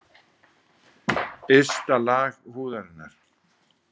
Ysta lag húðarinnar.